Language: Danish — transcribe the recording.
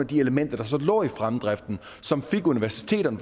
de elementer der så lå i fremdriften som fik universiteterne